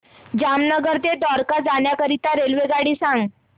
जामनगर ते द्वारका जाण्याकरीता रेल्वेगाडी सांग